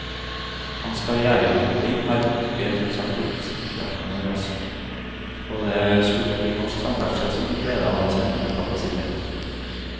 Hans karrièreutvikling var bent ut sagt oppsiktsvekkende rask, og det skulle bli norsk samferdsel som fikk glede av hans evner og kapasitet.